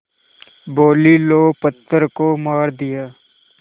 बोलीं लो पत्थर को मार दिया